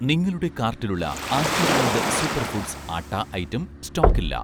നിങ്ങളുടെ കാർട്ടിലുള്ള 'Aashirvaad' super foods atta item സ്റ്റോക്കില്ല